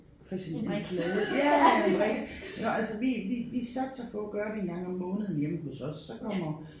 Præcis en plade ja eller en brik og altså vi vi vi satser på at gøre det en gang om måneden hjemme hos os så kommer